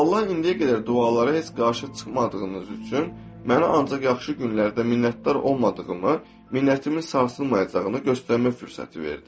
Allah indiyə qədər dualara heç qarşı çıxmadığınız üçün mənə ancaq yaxşı günlərdə minnətdar olmadığımı, minnətimin sarsılmayacağını göstərmək fürsəti verdi.